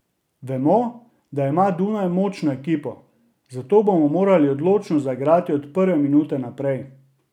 Vemo, da ima Dunaj močno ekipo, zato bomo morali odločno zaigrati od prve minute naprej.